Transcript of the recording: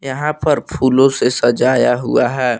यहां पर फूलों से सजाया हुआ है।